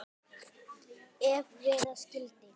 Ef vera skyldi.